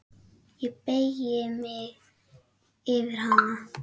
Ég beygi mig yfir hana.